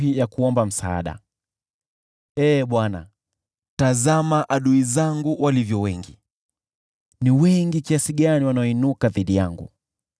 Ee Bwana , tazama adui zangu walivyo wengi! Ni wengi kiasi gani wanaoinuka dhidi yangu!